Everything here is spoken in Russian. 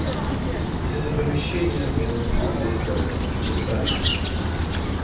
из этого помещения он вылезал часами